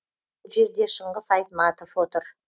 бұл жерде шыңғыс айтматов отыр